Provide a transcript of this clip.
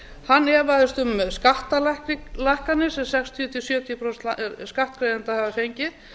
hann efaðist um skattalækkanir sem sextíu til sjötíu prósent skattgreiðenda hafa fengið